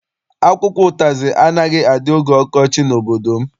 Akwụkwọ ụtazị anaghị adị oge ọkọchị n'obodo m.